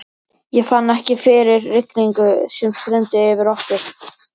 Ég fann ekki fyrir rigningunni sem streymdi yfir okkur.